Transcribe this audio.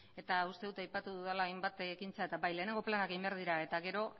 eta uste dut aipatu dudala hainbat ekintza eta bai lehenengo planak egin behar dira eta gero